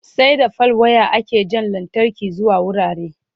sai da fal wire ake Jan lantarki zuwa wurare